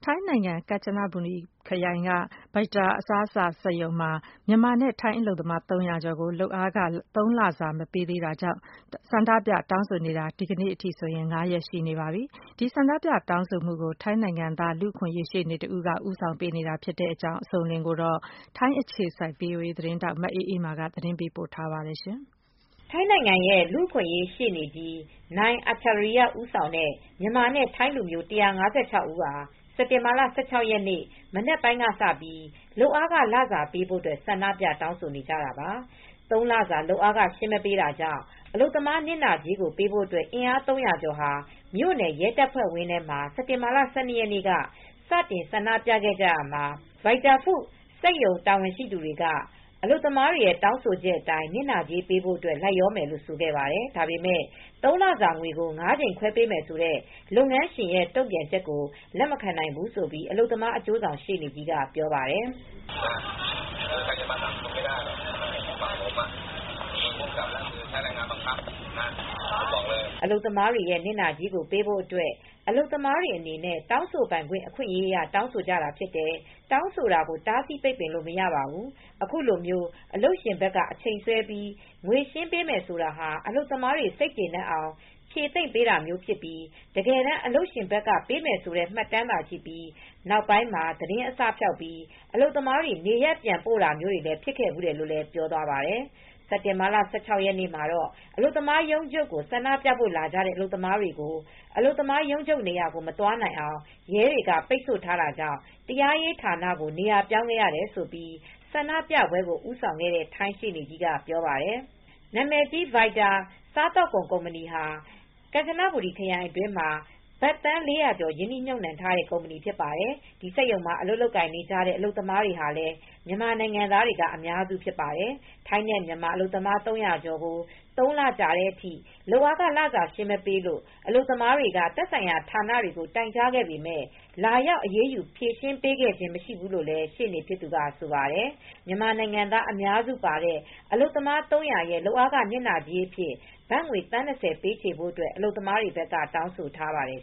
ိုင်းနိုင်ငံ၊ ကန်ချနဘူရီခရိုင်က Vita Food Factory မှာ မြန်မာနဲ့ ထိုင်းအလုပ်သမား ၃၀ ဝကျော်ကို လုပ်အားခ ၃ လစာ မပေးတာကြောင့် ဆန္ဒပြတောင်းဆိုနေတာ ဒီကနေ့ဆိုရင် ၅ ရက်ရှိပါပြီ။ ထိုင်းလူအခွင့်ရေးရှေနေ ဦးဆောင်ပြီး ကမ်ချနဘူရီခရိုင် Pak Phraek အမှတ် ဒေသ မြို့နယ်တရားရုံးရှေမှာ ဆန္ဒပြမူတွေဆက်လုပ်နေပါတယ်။ ထိုင်းအခြေစိုက် ဗွီအိုအေသတင်းထောက် မအေးအေးမာက သတင်းပေးပို့ ထားပါတယ်။ ထိုင်းနိုင်ငံ လူ့အခွင့်ရေး ရှေ့နေကြီး Achariya Rueangratanaphong ဦးဆောင်တဲ့ မြန်မာနဲ့ ထိုင်းလူမျိုး ၁၅၆ ဦးဟာ စက်တင်ဘာလ ၁၆ ရက်နေ့ မနက်ပိုင်းကစပြီး လုပ်အားခ လစာပေးဖို့ ဆန္ဒပြ တောင်းဆိုနေကြတာပါ။ သုံးလစာ လုပ်အားခရှင်းမပေးတာကြောင့် အလုပ်သမားနစ်နာကြေးပေးဖို့ အင်အား ၃၀၀ ကျော်ဟာ မြို့နယ် ရဲတပ်ဖွဲ့ ဝင်းထဲမှာ စက်တင်ဘာလ ၁၂ ရက်နေ့က စတင်ဆန္ဒပြခဲ့ကြရာမှာ Vita Food စက်ရုံ တာဝန်ရှိသူက အလုပ်သမားတွေ တောင်းဆိုချက်အတိုင်း နစ်နာကြေးပေးဖို့ လိုက်လျျှောမယ်လို့ ဆိုခဲ့ပါတယ်။ ဒါပေမယ့် ၃လစာ ငွေကို ၅ကြိမ်ခွဲပေးမယ်ဆိုတဲ့ လုပ်ငန်းရှင်ရဲ့ တုံ့ပြန်ချက်ကို လက်မခံနိုင်ဘူးလို့ အလုပ်သမား အကျိုးဆောင်ရှေ့နေကြီး ကပြောပါတယ်။ “အလုပ်သမားတွေရဲ့ နစ်နာကြေးပေးဖို့အတွက် အလုပ်သမားတွေအနေနဲ့ တောင်းဆိုပိုင်ခွင့် အခွင့်အရေးအရ တောင်းဆိုတာဖြစ်တယ်။ တောင်းဆိုတာကို တားဆီးပိတ်ပင်လို့ မရဘူး။ အခုလိုမျိုး အလုပ်ရှင်ဘက်က အချိန်ဆွဲပြီး ငွေရှင်းပေးမယ်ဆိုတာ အလုပ်သမားတွေ စိတ်ကျေနပ်အောင် ဖြေသိမ့်တာမျိုးဖြစ်ပြီး တကယ်တမ်း အလုပ်ရှင်ဘက်ကပေးမယ်ဆိုတဲ့ မှတ်တမ်းသာရှိပြီး နောင်ပိုင်းမှာ သတင်းအစဖျောက်ပြီး အလုပ်သမားတွေ နေရပ်ပြန်ပို့တာမျိုးတွေ ဖြစ်ခဲ့ဖူးတယ်” လို့လည်းပြောသွားပါတယ်။ စက်တင်ဘာလ ၁၆ ရက်မှာ အလုပ်သမားရုံးချုပ်ကို ဆန္ဒပြဖို့လာကြတဲ့ အလုပ်သမားတွေ ကိုတော့ အလုပ်သမားရုံးချုပ် နေရာကို မသွားနိုင်အောင် ရဲတွေက ပိတ်ဆို့ထားတာကြောင့် တရားရေးဌာနကို နေရာ ပြောင်းခဲ့ရတယ်လို့ဆန္ဒပြပွဲကို ဦးဆောင်နေတဲ့ ထိုင်းရှေ့နေကြီးက ပြောပါတယ်။ နာမည်ကြီး Vita စားသောက်ကုန် (Vita Food Factory) ကုမ္ပဏီဟာ ကမ်ချနဘူရီ ခရိုင်အတွင်းမှာ ဘတ်သန်း ၄၀၀ ကျော် ရင်းနှီးမြှုပ်နှံထားတဲ့ ကုမ္ပဏီ ဖြစ်ပါတယ်။ ဒီစက်ရုံမှာ လုပ်ကိုင်နေကြတဲ့ အလုပ်သမားတွေ ဟာလည်း မြန်မာအများစုဖြစ်ပါတယ်။ ထိုင်း နဲ့ မြန်မာအလုပ်သမား ၃၀၀ ကျော်ကို ၃လကြာတဲ့အထိ လုပ်အားခ လစာရှင်းမပေးလို့ အလုပ်သမားတွေက သက်ဆိုင်ရာ ဌာနတွေကို တိုင်ကြားခဲ့ပေမယ့် လာရောက် အရေးယူဖြေရှင်းပေးခဲ့ခြင်း မရှိဘူးလို့လည်း ရှေ့နေဖြစ်သူက ဆိုပါတယ်။ မြန်မာနိုင်ငံသားအများစုပါဝင်တဲ့ အလုပ်သမား ၃၀၀ ရဲ့လုပ်အားခ နစ်နာကြေးအဖြစ် ဘတ်ငွေ သန်း ၂၀ ပေးချေဖို့ အလုပ်သမားတွေဘက်က တောင်းဆိုထားပါတယ်